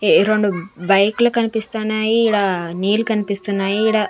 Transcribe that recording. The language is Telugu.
ఏ రెండు బైక్లు కన్పిస్తున్నాయి ఈడ నీళ్లు కన్పిస్తున్నాయి ఈడ--